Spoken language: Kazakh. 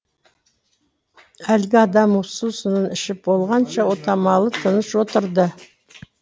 әлгі адам сусынын ішіп болғанша отамалы тыныш отырды